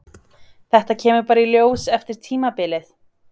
Þetta kemur bara í ljós eftir tímabilið?